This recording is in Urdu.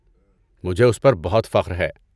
مجھے اس پر بہت فخر ہے۔